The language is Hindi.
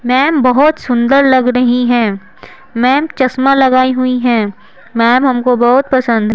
मैम बहुत सुंदर लग रही हैं मैम चश्मा लगाई हुई हैं मैम हमको बहुत पसंद--